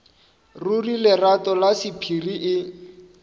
ruri lerato la sephiri e